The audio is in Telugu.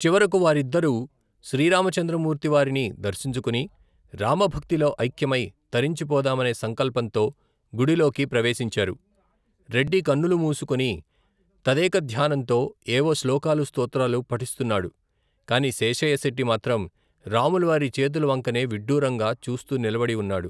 చివరకు వారిద్దరూ శ్రీరామచంద్ర మూర్తివారిని దర్శించుకుని రామభక్తిలో ఐక్యమై తరించిపోదామనే సంకల్పంతో గుడిలోకి ప్రవేశించారు రెడ్డి కన్నులు మూసుకొని తదేకధ్యానంతో ఏవో శ్లోకాలూ స్త్రోత్రాలు పఠిస్తున్నాడు కాని శేషయ్య శెట్టి మాత్రం రాముల వారి చేతులవంకనే విడ్డూరంగా చూస్తూనిలబడి ఉన్నాడు.